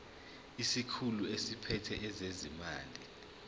isikhulu esiphethe ezezimali